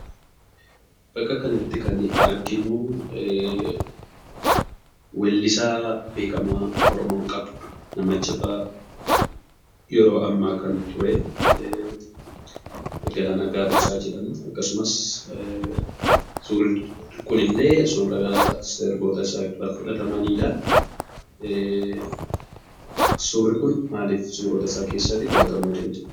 Bakka kanatti kan arginuu weellisaa beekamaa Oromoon qabdu, nama jabaa yeroo ammaa kan turee Galaanaa Gaaromsaa jedhama. Akkasumas suurri kunillee suuraa sirboota isaarraa fudhatamanidha. Suurri kun maalif suurota isaa keessaatii fudhatamuu danda'e?